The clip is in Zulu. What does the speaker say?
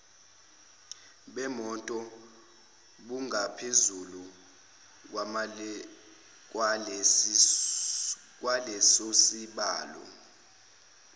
bemoto bungaphezulu kwalesosibalo